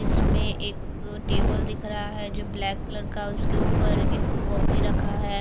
इसमें एक टेबल दिख रहा है जो ब्लैक कलर का उसके ऊपर एक कॉपी रखा है।